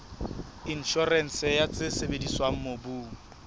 inshorense ya tse sebediswang mobung